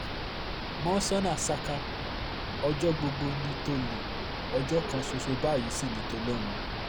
mọ́ńsóná saka ọjọ́ gbogbo ní tólẹ̀ ọjọ́ kan ṣoṣo báyìí sì ni ti olóhùn